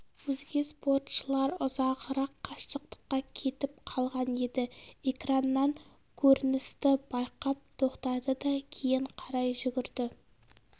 өзге спортшылар ұзағырақ қашықтыққа кетіп қалған еді экраннан көріністі байқап тоқтады да кейін қарай жүгірді